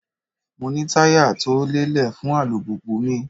Mo ní táyà tó lélẹ̀ fún alùpùpù mi.